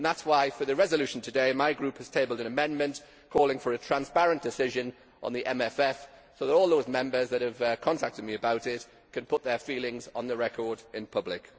That is why, for the resolution today, my Group has tabled an amendment calling for a transparent decision on the MFF so that all those Members who have contacted me about it can put their feelings on the record, in public.